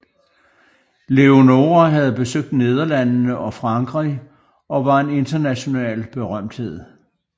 Leonora havde besøgt Nederlandene og Frankrig og var en international berømthed